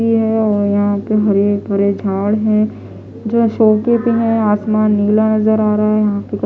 ये है और यहाँ पे हरे भरे झाड़ है जो अशोके पे है आसमान नीला नज़र आ रहा है यहाँ पे --